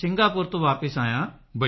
Singapore ਤੋਂ ਵਾਪਸ ਆਇਆ ਸਾਂ